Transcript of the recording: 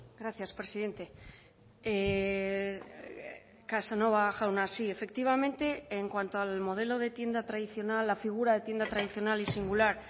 gracias presidente casanova jauna sí efectivamente en cuanto al modelo de tienda tradicional la figura de tienda tradicional y singular